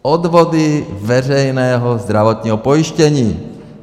Odvody veřejného zdravotního pojištění.